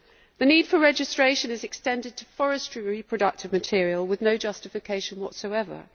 The need for registration is extended to forestry reproductive material with no justification whatsoever.